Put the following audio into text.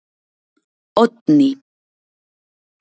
Oddný